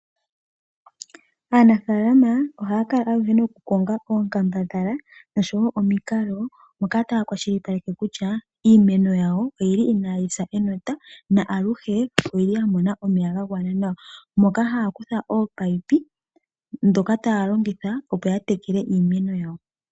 Aanafalama ohaya kongo oinkambadhala oshowo omikalo moka taya kwashilipaleke kutya iimeno oyili inayisa enota, noya mona omeya gagwana nawa kehe ethimbo moka haya kutha ominino ndhono haya longitha, opo yateleke iimeno yawo.